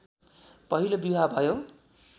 पहिलो बिवाह भयो